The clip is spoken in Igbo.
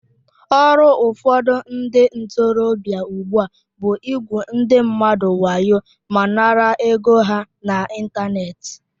Ọrụ ụfọdụ ndị ntorobịa ugbua bụ igwu ndị mmadụ wayo ma nara ego ha n'Ịntanet